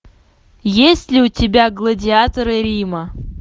есть ли у тебя гладиаторы рима